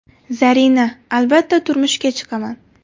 Zarina: Albatta turmushga chiqaman.